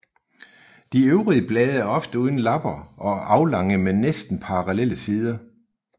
De øvre blade er ofte uden lapper og aflange med næsten parallelle sider